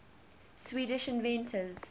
swedish inventors